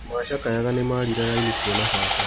Andũ macakayaga nĩmarire raini kuona baba.